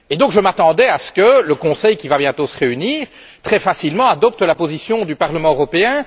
Je m'attendais donc à ce que le Conseil, qui va bientôt se réunir, adopte très facilement la position du Parlement européen.